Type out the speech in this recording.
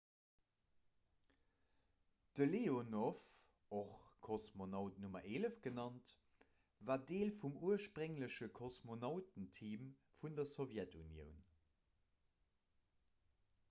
de leonov och kosmonaut nr 11 genannt war deel vum urspréngleche kosmonautenteam vun der sowjetunioun